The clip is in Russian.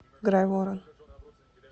грайворон